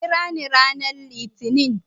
Ka kirani ranar Litinin.